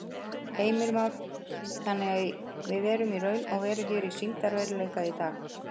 Heimir Már: Þannig að við erum í raun og veru hér í sýndarveruleika í dag?